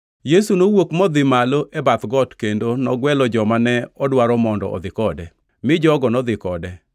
Yesu nowuok modhi malo e bath got kendo nogwelo joma ne odwaro mondo odhi kode, mi jogo nodhi kode.